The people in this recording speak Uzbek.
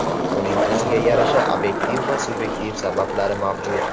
Buning o‘ziga yarasha obyektiv va subyektiv sabablari mavjud.